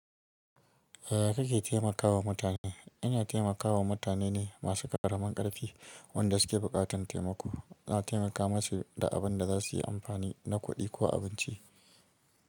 Yaya kake taimakawa mutane? Ina taimakawa mutane ne masu ƙaramin ƙarfi wanda suke buƙatar taimako. Na taimaka masu da abin da za su yi amfani na kuɗi ko abinci.